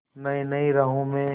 नई नई राहों में